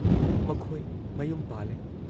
ꯃꯈꯣꯏ ꯃꯌꯨꯝ ꯄꯥꯜꯂꯦ ꯫